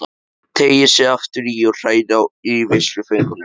Teygir sig aftur í og hrærir í veisluföngunum.